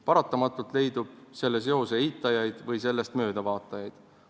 Paratamatult leidub selle seose eitajaid või sellest mööda vaatajaid.